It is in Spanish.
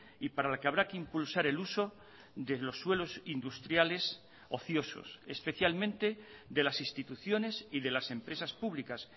y para la que habrá que impulsar el uso de los suelos industriales ociosos especialmente de las instituciones y de las empresas públicas